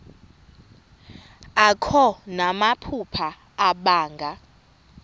akho namaphupha abanga